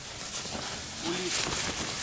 улитка